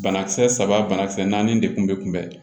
Banakisɛ saba banakisɛ naani de kun bɛ kunbɛn